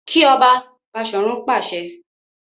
Ki ọba! Bashorun pàṣẹ.